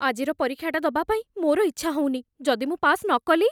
ଆଜିର ପରୀକ୍ଷାଟା ଦବା ପାଇଁ ମୋର ଇଚ୍ଛା ହଉନି । ଯଦି ମୁଁ ପାସ୍ ନ କଲି?